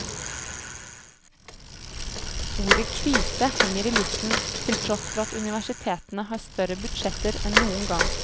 Ordet krise henger i luften til tross for at universitetene har større budsjetter enn noen gang.